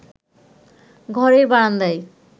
ঘরের বারান্দায়